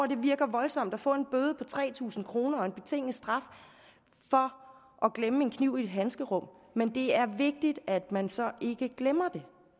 det virker voldsomt at få en bøde på tre tusind kroner og en betinget straf for at glemme en kniv i et handskerum men det er vigtigt at man så ikke glemmer det